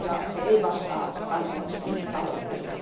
Se ei vastaa kansalaisten tavoitteita.